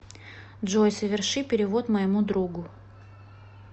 джой соверши перевод моему другу